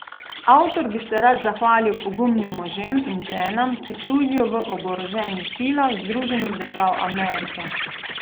Avtor bi se rad zahvalil pogumnim možem in ženam, ki služijo v Oboroženih silah Združenih držav Amerike.